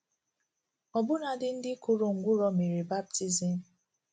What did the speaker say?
Ọbụnadị ndị kụrụ ngwụrọ mere baptizim.